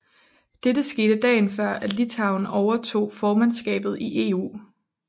Dette skete dagen før at Litauen overtog formandskabet i EU